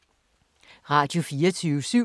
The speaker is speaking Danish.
Radio24syv